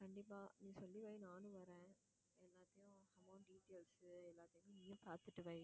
கண்டிப்பா நீ சொல்லி வை நானும் வரேன் எல்லாத்தையும் amount details எல்லாத்தையும் நீயும் பாத்துட்டு வை